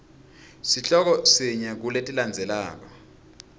sihloko sinye kuletilandzelako